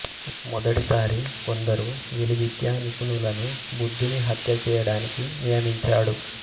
మొదటి సారి కొందరు విలువిద్యా నిపుణులను బుద్ధుని హత్యచేయడానికి నియమించాడు